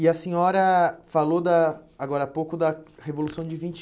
E a senhora falou da... Agora há pouco, da Revolução de vinte